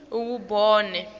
iwubone